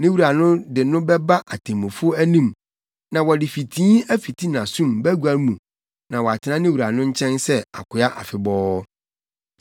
ne wura no de no bɛba atemmufo anim na wɔde fitii afiti nʼasom bagua mu na watena ne wura no nkyɛn sɛ akoa afebɔɔ.